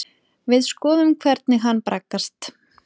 Við skoðum hvernig hann braggast.